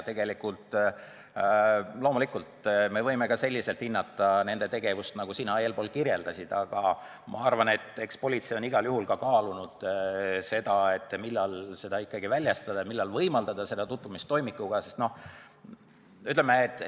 Loomulikult me võime ka selliselt hinnata nende tegevust, nagu sina eespool kirjeldasid, aga ma arvan, et eks politsei on igal juhul kaalunud, millal ikkagi väljastada ja millal võimaldada toimikuga tutvumist.